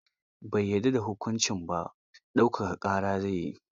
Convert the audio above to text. Bai yadda da hukuncin ba, ɗaukaka ƙara zai yi.